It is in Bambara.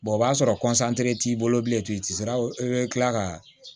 o b'a sɔrɔ t'i bolo bilen tugun i tɛ se ka i bɛ kila ka